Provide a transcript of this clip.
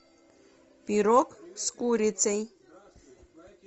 пирог с курицей